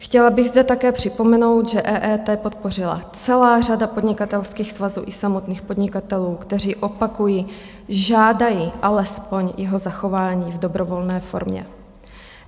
Chtěla bych zde také připomenout, že EET podpořila celá řada podnikatelských svazů i samotných podnikatelů, kteří - opakuji - žádají alespoň jeho zachování v dobrovolné formě.